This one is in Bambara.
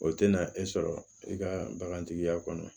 O tɛna e sɔrɔ i ka bagantigiya kɔnɔ